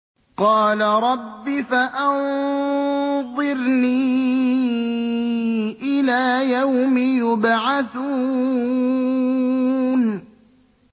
قَالَ رَبِّ فَأَنظِرْنِي إِلَىٰ يَوْمِ يُبْعَثُونَ